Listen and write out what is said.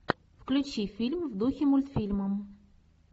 включи фильм в духе мультфильма